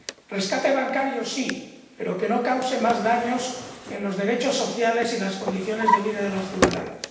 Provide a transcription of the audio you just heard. Rescate bancario sí, pero que no cause más daños en los derechos sociales y las condiciones de vida de los ciudadanos